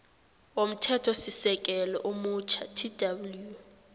womthethosisekelo omutjha tw